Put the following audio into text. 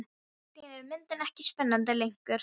Allt í einu er myndin ekki spennandi lengur.